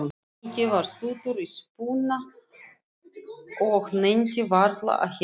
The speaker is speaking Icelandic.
Nikki var stuttur í spuna og nennti varla að heilsa